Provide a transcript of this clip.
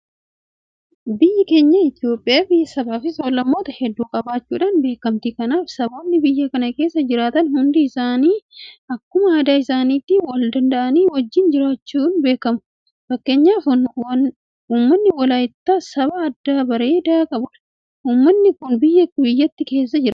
Biyyi keenya Itoophiyaan biyya sabaafi sablammoota hedduu qabaachuudhaan beekamti. Kanaaf saboonni biyya kana keessa jiraatan hundi akkuma aadaa isaaniitti waldanda'anii wajjin jiraachuudhaan beekamu. Fakkeenyaaf uummanni Walaayittaa saba aadaa bareedaa qabudha. Uummanni kun kibba biyyattii keessa jiraata.